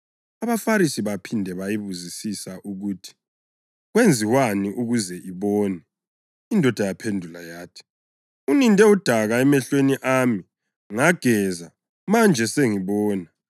AbaFarisi baphinde bayibuzisisa ukuthi kwenziwani ukuze ibone. Indoda yaphendula yathi, “Uninde udaka emehlweni ami, ngageza, manje sengibona.”